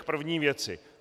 K první věci.